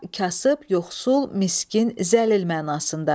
Burada kasıb, yoxsul, miskin, zəlil mənasında.